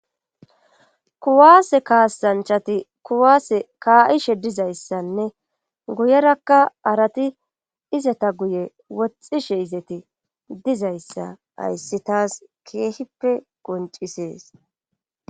kuwaase kaasanchati kuwaase ka7ishe dizayssanne guyerakka arati izata guye woxxishe izeti dizayssa ayssi taas keehippe qoncisees